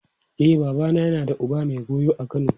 E, babana yana da uba mai goyo a Kano.